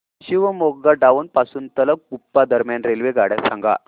Shivamogga town पासून तलगुप्पा दरम्यान रेल्वेगाड्या सांगा